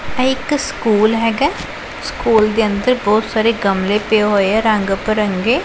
ਇਹ ਇੱਕ ਸਕੂਲ ਹੈਗੈ ਸਕੂਲ ਦੇ ਅੰਦਰ ਬਹੁਤ ਸਾਰੇ ਗਮਲੇ ਪਏ ਹੋਏ ਐ ਰੰਗ ਪਿਰੰਗੇ